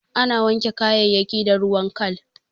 Ana wanke kayayayyaki da ruwan kal.